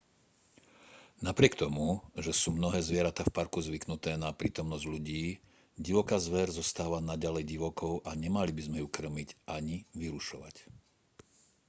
napriek tomu že sú mnohé zvieratá v parku zvyknuté na prítomnosť ľudí divoká zver zostáva naďalej divokou a nemali by sme ju kŕmiť ani vyrušovať